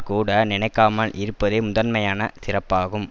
கூட நினைக்காமல் இருப்பதே முதன்மையான சிறப்பாகும்